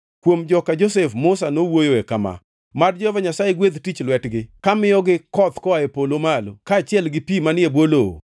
Kuom joka Josef, Musa nowuoyo kama, Mad Jehova Nyasaye gwedh tich lwetgi kamiyogo koth koa e polo malo, kaachiel gi pi manie bwo lowo,